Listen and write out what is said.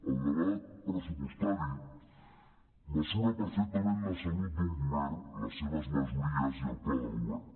el debat pressupostari mesura perfectament la salut d’un govern les seves majories i el pla de govern